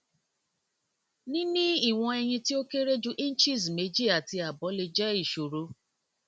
ni nini iwọn ẹyin ti o kere ju inches meji ati abo le jẹ iṣoro